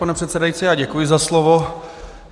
Pane předsedající, já děkuji za slovo.